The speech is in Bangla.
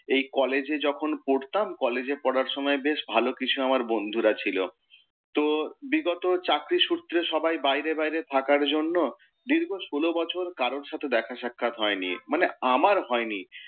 এই কলেজে যখন পড়তাম কলেজে পড়ার সময় বেশ ভালো কিছু আমার বন্ধুরা ছিল। তো বিগত চাকরি সূত্রে সবাই বাইরে বাইরে থাকার জন্য দীর্ঘ ষোল বছর কারোর সাথে দেখা সাক্ষাত হয়নি, মানে আমার হয়নি।